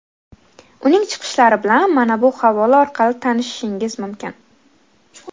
Uning chiqishlari bilan mana bu havola orqali tanishishingiz mumkin.